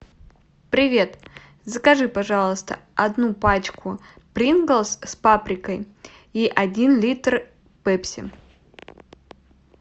привет закажи пожалуйста одну пачку принглс с паприкой и один литр пепси